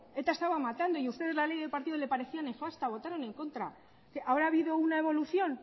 eta estaba matando y ustedes la ley de partidos les pareció nefasta votaron en contra ahora ha habido una evolución